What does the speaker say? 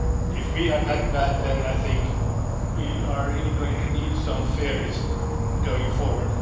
If we are that bad, then I think we are really going to need some fairies going forward.